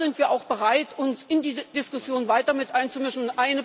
Dinge dann sind wir auch bereit, uns in diese Diskussion weiter mit einzumischen.